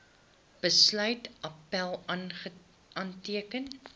besluit appèl aanteken